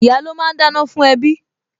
Ìyá́ ló máa ń dáná fún ẹbí